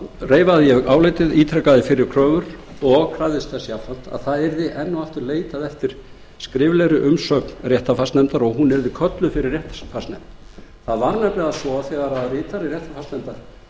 þar reifaði ég álitið ítrekaði fyrri kröfur og krafðist þess jafnframt að enn og aftur yrði leitað eftir skriflegri umsögn réttarfarsnefndar og hún yrði kölluð fyrir það var nefnilega svo að þegar ritari réttarfarsnefndar kom fyrir